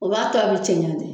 O b'a to a bɛ cɛɲa de.